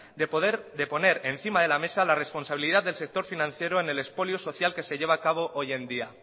de poner encima de la mesa la responsabilidad del sector financiero en el expolio social que se lleva a cabo hoy en día